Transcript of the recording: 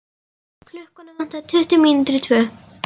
Klukkuna vantaði tuttugu mínútur í tvö.